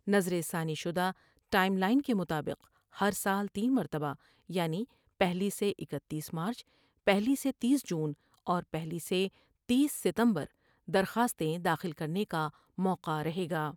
نظر ثانی شدہ ٹائم لائن کے مطابق ہر سال تین مرتبہ یعنی پہلی سے اکتیس مارچ ، پہلی سے تیس جون ، اور پہلی سے تیس ستمبر درخواستیں داخل کر نے کا موقع رہے گا ۔